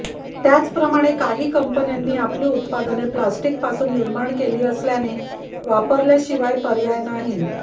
त्याचप्रमाणे काही कंपन्यांनी आपली उत्पादने प्लास्टिकपासून निर्माण केली असल्याने वापरल्याशिवाय पर्याय नाही